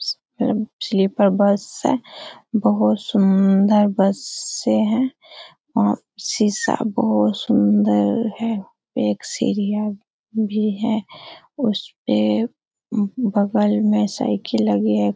Sleeper bus है। बहुत सुन्दर बसे है। और शीशा बहुत सुन्दर है। एक सीढ़ियां भी है उसपे बगल मे साइकिल लगी है।